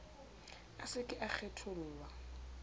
a se ke a kgethollwa